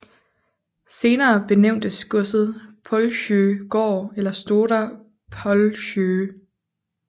Senere benævntes godset Pålsjö gård eller Stora Pålsjö